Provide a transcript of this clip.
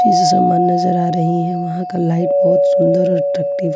इस समान नजर आ रही हैं वहां का लाइट बहुत सुंदर और --